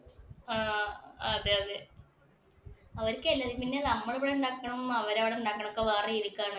ആഹ് അതെയതെ. അവരിക്കല്ല പിന്നെ നമ്മളിവിടെ ഉണ്ടാക്കണതും, അവരവിടെ ഉണ്ടാക്കണതും വേറെ രീതിക്കാണ്.